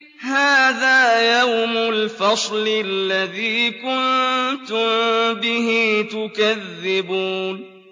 هَٰذَا يَوْمُ الْفَصْلِ الَّذِي كُنتُم بِهِ تُكَذِّبُونَ